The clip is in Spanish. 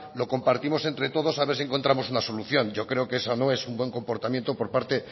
lo compartimos entre todos a ver si encontramos una solución yo creo que esa no es un buen comportamiento por parte